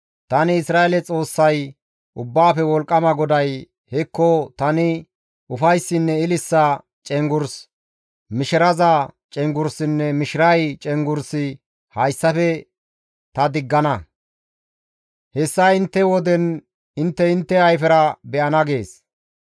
Tani Isra7eele Xoossay Ubbaafe Wolqqama GODAY, ‹Hekko, tani ufayssinne ililisa cenggurs, mishiraza cenggurssinne mishiray cenggurssi hayssafe ta diggana; hessa intte woden intte intte ayfera be7ana› gees.